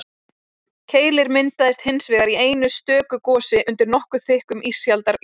keilir myndaðist hins vegar í einu stöku gosi undir nokkuð þykkum ísaldarjökli